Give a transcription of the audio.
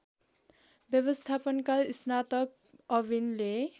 व्यवस्थापनका स्नातक अविनले